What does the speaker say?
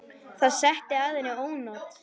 Það setti að henni ónot.